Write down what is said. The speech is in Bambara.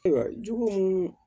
Ayiwa jugu mun